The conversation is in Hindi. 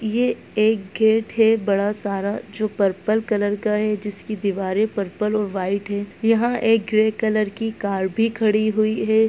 ये एक गेट है बड़ा सारा जो पर्पल कलर का है जिसकी दीवारे पर्पल और व्हाइट है यहाँ एक ग्रे कलर की कार भी खड़ी हुई है।